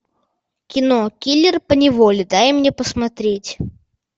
кино киллер поневоле дай мне посмотреть